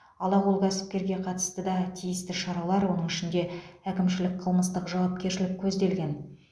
алақол кәсіпкерге қатысты да тиісті шаралар оның ішінде әкімшілік қылмыстық жауапкершілік көзделген